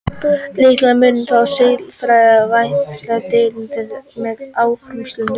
Líklega munu þó siðfræðilegar vangaveltur dvelja lengst með áhorfendum.